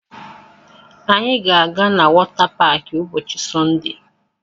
Anyị ga-aga na wọta paakị ụbọchị Sọnde